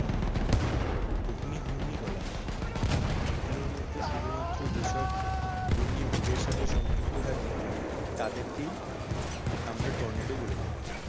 অগ্নি ঘূর্ণি বলা হয়। এগুলোর মধ্যে শুধুমাত্র যেসব ঘূর্ণি মেঘের সাথে সংযুক্ত থাকে তাদেরকেই আমরা টর্নেডো বলে থাকি।